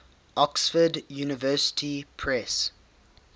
oxford university press